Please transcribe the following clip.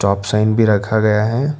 अपसाइन भी रखा गया है।